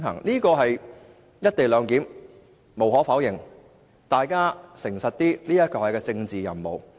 大家要誠實一點，"一地兩檢"無可否認是一項政治任務。